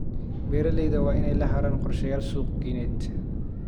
Beeralayda waa inay lahaadaan qorshayaal suuqgeyneed.